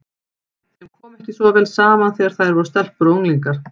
Þeim kom ekki svo vel saman þegar þær voru stelpur og unglingar.